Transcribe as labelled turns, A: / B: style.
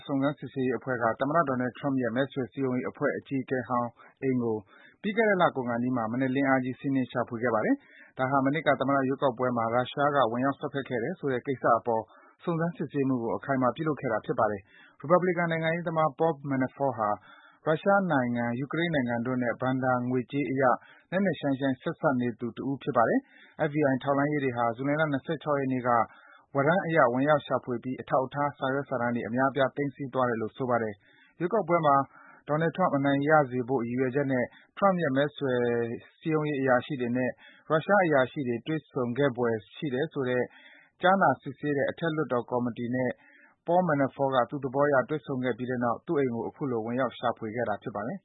A: စုံစမ်းစစ်ဆေးရေးအဖွဲ့က သမ္မတ Donald Trump ရဲ့ မဲဆွယ်စည်းရုံးရေးအဖွဲ့ အကြီးအကဲဟောင်း အိမ်ကို ပြီးခဲ့တဲ့လ ကုန်ခါနီးမှာ မနက်လင်းအားကြီး စီးနင်း ရှာဖွေခဲ့ပါတယ်။ ဒါဟာ မနှစ်က သမ္မတ ရွေးကောက်ပွဲမှာ ရုရှားက ဝင်ရောက်စွက်ဖက်ခဲ့တယ်ဆိုတဲ့ ကိစ္စအပေါ် စုံစမ်းစစ်ဆေးမှုကို အခိုင်အမာ ပြုလုပ်ခဲ့တာ ဖြစ်ပါတယ်။ ရီပတ်ဘလီကန် နိုင်ငံရေးသမား Paul Manafort ဟာ ရုရှားနိုင်ငံ၊ ယူကရိန်းနိုင်ငံတို့နဲ့ ဘဏ္ဍာငွေကြေးအရ နက်နက်ရှိုင်းရှိုင်း ဆက်စပ်နေသူ တဦးဖြစ်ပါတယ်။ FBI ထောက်လှမ်းရေးတွေဟာ ဇူလိုင်လ ၂၆ ရက်နေ့က ဝရမ်းအရ ဝင်ရောက်ရှာဖွေပြီး အထောက်အထား စာရွက်စာတမ်းတွေ အများအပြား သိမ်းဆည်းသွားတယ်လို့ ဆိုပါတယ်။ ရွေးကောက်ပွဲမှာ Donald Trump အနိုင်ရစေဖို့ ရည်ရွယ်ချက်နဲ့ Trump ရဲ့ မဲဆွယ်အရာရှိတွေနဲ့ ရုရှားအရာရှိတွေ တွေ့ဆုံခဲ့ဘွယ် ရှိတယ်ဆိုတာကို ကြားနာစစ်ဆေးတဲ့ အထက်လွှတ်တော် ကော်မီတီနဲ့ Paul Manafort သူ့သဘောအရ တွေ့ဆုံခဲ့ပြီးတဲ့နောက် သူ့အိမ်ကို အခုလို ဝင်ရောက် ရှာဖွေခဲ့တာ ဖြစ်ပါတယ်